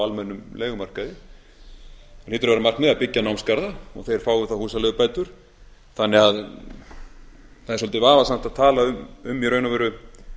almennum leigumarkaði það hlýtur að vera markmiðið að byggja námsgarða og þeir fái þá húsaleigubætur þannig að það er svolítið vafasamt að tala um í raun og veru